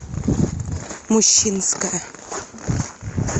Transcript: мущинская